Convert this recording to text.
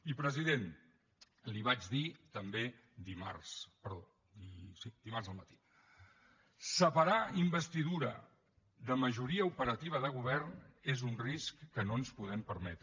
i president li ho vaig dir també dimarts perdó sí dimarts al matí separar investidura de majoria operativa de govern és un risc que no ens podem permetre